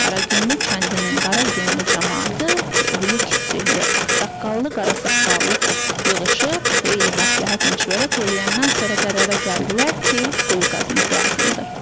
Qaragünlü kəndinin Qaragünlü camaatı böyüklü-kiçikli, ağsaqqallı, qara saqqallı yığışıb xeyli məsləhət-məşvərət eləyəndən sonra qərara gəldilər ki, quyu qazmaq lazımdır.